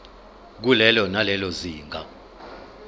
kulelo nalelo zinga